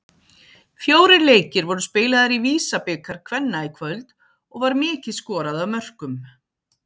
Fjórir leikir voru spilaðir í VISA-bikar kvenna í kvöld og var mikið skorað af mörkum.